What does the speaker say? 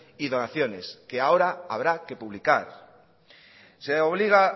y donaciones que ahora habrá que publicar se obliga